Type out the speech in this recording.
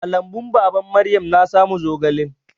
A lambun baban Maryam na samu zogalan.